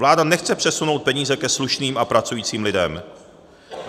Vláda nechce přesunout peníze ke slušným a pracujícím lidem.